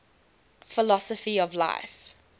philosophy of life